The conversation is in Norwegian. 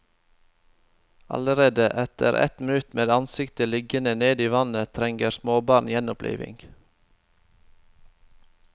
Allerede etter ett minutt med ansiktet liggende ned i vannet trenger småbarn gjenopplivning.